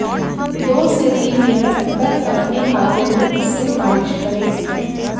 दो से तीन मिनट तक अपने हाथों में इससे मालिश करें